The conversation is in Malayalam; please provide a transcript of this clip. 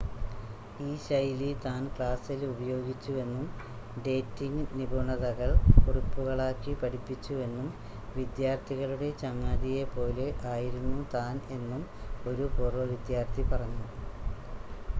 ഈ ശൈലി താൻ ക്ലാസ്സിൽ ഉപയോഗിച്ചുവെന്നും ഡേറ്റിംങ്ങ് നിപുണതകൾ കുറിപ്പുകളാക്കി പഠിപ്പിച്ചുവെന്നും വിദ്യാർത്ഥികളുടെ ചങ്ങാതിയെ പോലെ ആയിരുന്നു താൻ എന്നും ഒരു പൂർവ്വ വിദ്യാർത്ഥി പറഞ്ഞു